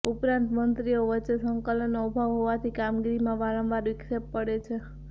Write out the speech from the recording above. ઉપરાંત મંત્રીઓ વચ્ચે સંકલનનો અભાવ હોવાથી કામગીરીમાં વારંવાર વિક્ષેપ પડે છે